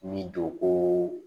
Ni don ko